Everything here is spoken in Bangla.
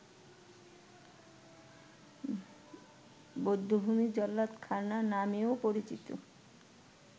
বধ্যভূমি ‘জল্লাদখানা’ নামেও পরিচিত